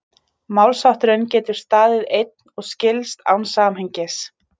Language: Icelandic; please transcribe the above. Málshátturinn getur staðið einn og skilst án samhengis.